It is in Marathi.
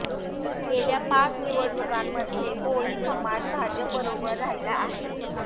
गेल्या पाच निवडणुकांमध्ये कोळी समाज भाजपबरोबर राहिला आहे